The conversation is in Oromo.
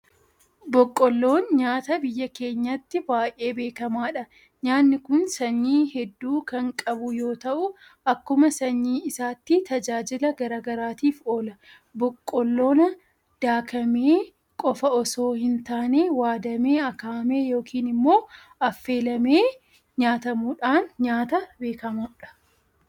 Boqqoolloon nyaata biyya keenyatti baay'ee beekamaadha. Nyaanni kun sanyii hedduu kan qabu yoota'u akkuma sanyii isaatti tajaajila garaa garaatiif oola. Boqqoollaan daakamee qofa osso hintaane waadamee, akaa'amee yookiin immoo affeelamee nyaatamuudhaan nyaata beekamudha.